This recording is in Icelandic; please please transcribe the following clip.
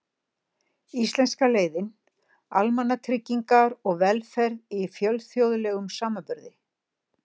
Íslenska leiðin: Almannatryggingar og velferð í fjölþjóðlegum samanburði.